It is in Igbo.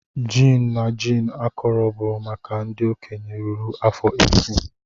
Gin na gin akọrọ bụ maka ndị okenye ruru afọ 18.